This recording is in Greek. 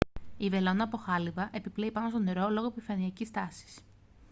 η βελόνα από χάλυβα επιπλέει πάνω στο νερό λόγω επιφανειακής τάσης